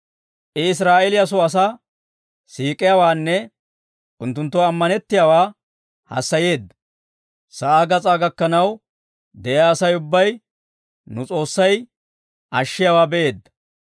I Israa'eeliyaa soo asaa siik'iyaawaanne unttunttoo ammanettiyaawaa hassayeedda. Sa'aa gas'aa gakkanaw de'iyaa Asay ubbay nu S'oossay ashiyaawaa be'eedda.